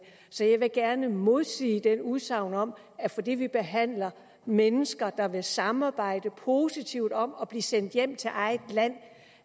så jeg vil gerne modsige det udsagn om at fordi vi behandler mennesker der vil samarbejde positivt om at blive sendt hjem til eget land